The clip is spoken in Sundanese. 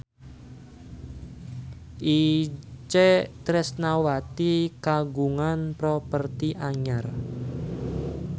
Itje Tresnawati kagungan properti anyar